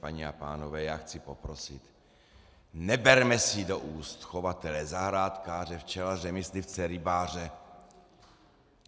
Paní a pánové, já chci poprosit, neberme si do úst chovatele, zahrádkáře, včelaře, myslivce, rybáře.